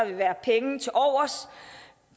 vil være penge tilovers